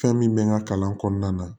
Fɛn min bɛ n ka kalan kɔnɔna na